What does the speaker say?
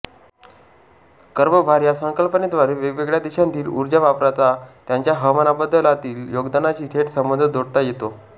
कर्बभार या संकल्पनेद्वारे वेगवेगळ्या देशांतील ऊर्जावापराचा त्यांच्या हवामानबदलातील योगदानाशी थेट संबंध जोडता येतो